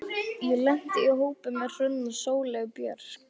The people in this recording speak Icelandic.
Ég lenti í hópi með Hrönn og Sóleyju Björk.